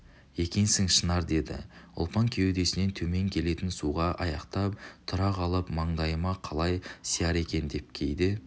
екенсің шынар деді ұлпан кеудесінен темен келетін суға аяқтап тұра қалып маңдайыма қалай сияр екен деп кейде